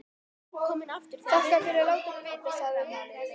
Þakka þér fyrir að láta mig vita, sagði hún.